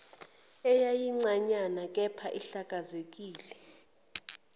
eyayincanyana kepha ihlanzekile